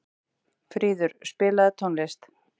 Fríður, spilaðu tónlist.